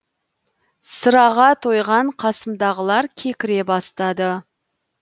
сыраға тойған қасымдағылар кекіре бастады